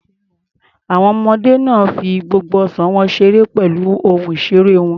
Àwọn ọmọdé náà fi gbogbo ọ̀sán wọn ṣeré pẹ̀lú ohun ìṣeré wọn.